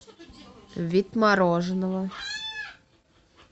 вид мороженого